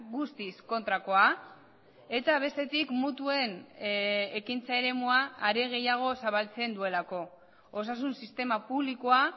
guztiz kontrakoa eta bestetik mutuen ekintza eremua are gehiago zabaltzen duelako osasun sistema publikoa